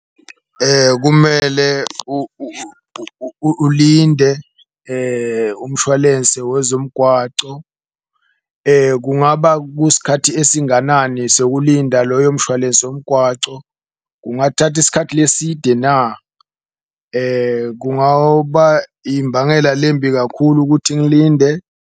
Kumele ulinde umshwalense wezomgwaco kungaba kusikhathi esinganani sokulinda loyo mshwalense womgwaco, kungathatha isikhathi leside na. Imbangela lembi kakhulu kuthi ngilinde.